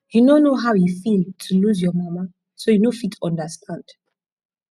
you no know how e feel to lose your mama so you no fit understand